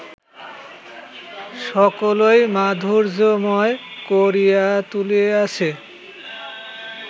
সকলই মাধুর্যময় করিয়া তুলিয়াছে